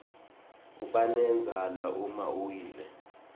kubanendzala uma uwile